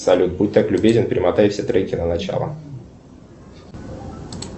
салют будь так любезен перемотай все треки на начало